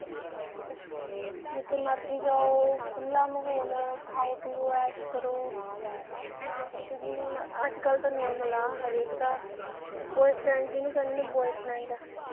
ਜਿੱਥੇ ਮਰਜੀ ਜਾਓ, ਖੁੱਲ੍ਹਾ ਮਾਹੌਲ, ਖਾਓ ਪੀਓ, ਐਸ਼ ਕਰੋ, ਨਾ ਕਿਸੇ ਦੀ, ਅੱਜਕਲ੍ਹ ਤਾਂ normal ਆ ਹਰੇਕ ਦਾ boyfriend ਜਿਹਨੂੰ ਕਹਿੰਦੇ ਨੇ boyfriend